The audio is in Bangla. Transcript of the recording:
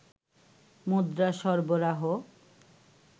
মুদ্রা সরবরাহ